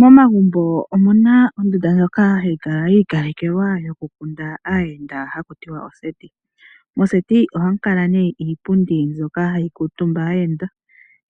Momagumbo omuna ondunda ndjoka hayi kala ya ikalekelwa yokukunda aahenda hatutiwa oseti. Moseti ohamu kala ne iipundi mbyoka hayi kiitumba aayenda